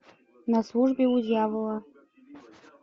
на службе у дьявола